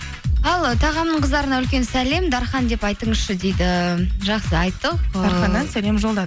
ал тағамның қыздарына үлкен сәлем дархан деп айтыңызшы дейді жақсы айттық ыыы дарханнан